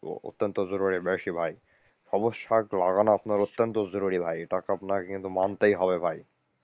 অত্যন্ত জরুরী বেশি ভাই, সবুজ শাক লাগানো আপনার অত্যন্ত জরুরী ভাই, এটা তো আপনাকে কিন্তু মানতেই হবে ভাই।